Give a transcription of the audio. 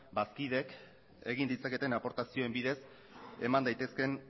bazkideek egin ditzaketen aportazioen bidez eman daitezkeen